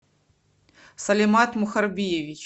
салимат мухарбиевич